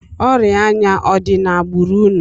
Ọrịa anya ọ dị n'agbụrụ unu?